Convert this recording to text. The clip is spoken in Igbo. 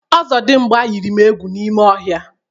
Ọzọdịmgba yiri m egwu n'ime ọhịa.